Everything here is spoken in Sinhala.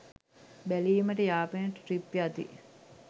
බැලීමට යාපනයට ට්‍රිප් යති